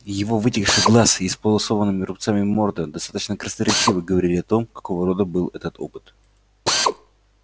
его вытекший глаз и исполосованная рубцами морда достаточно красноречиво говорили о том какого рода был этот опыт